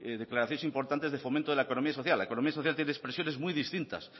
declaraciones importantes del fomento de la economía social la economía social tiene expresiones muy distintas